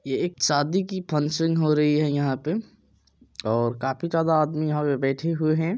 ये एक शादी की फंक्शन हो रही है यहां पे और काफी ज्यादा आदमी यहां पे बैठे हुए है।